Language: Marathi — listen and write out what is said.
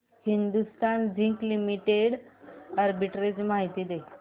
हिंदुस्थान झिंक लिमिटेड आर्बिट्रेज माहिती दे